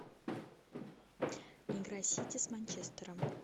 игра сити с манчестером